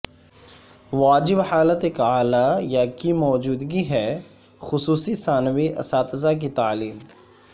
واجب حالت ایک اعلی یا کی موجودگی ہے خصوصی ثانوی اساتذہ کی تعلیم